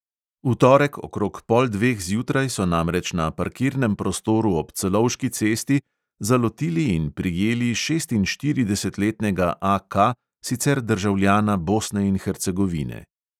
V torek okrog pol dveh zjutraj so namreč na parkirnem prostoru ob celovški cesti zalotili in prijeli šestinštiridesetletnega A K, sicer državljana bosne in hercegovine.